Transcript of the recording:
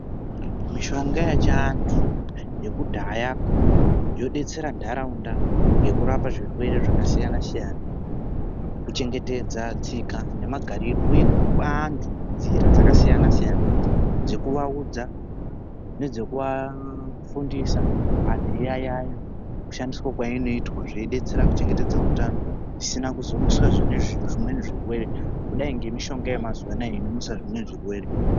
Mishonga yechiantu yekudhaya yodetsera nharaunda yokurapa zvirwere zvakasiyana siyana kuchengetedza tsika nemagariro uye kupa antu nzira dzakasiyana siyana nekuaudza nedzekuaudza nekuafundisa anhu eyauo ushandiswa kwainoitwa kuchengetedzwa utano zvisina kuzo mutsa zvirwere kudai ngezviyaayo zvaayo zvemazuwa ano inomutsa zvimweni zvirwere.